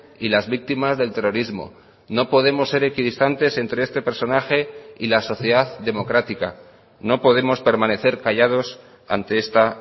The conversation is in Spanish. y las víctimas del terrorismo no podemos ser equidistantes entre este personaje y la sociedad democrática no podemos permanecer callados ante esta